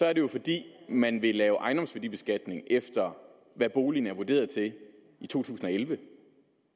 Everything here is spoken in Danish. er det jo fordi man vil lave en ejendomsværdibeskatning efter hvad boligen er vurderet til i to tusind og elleve